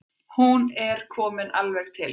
Hún er komin alveg til hans.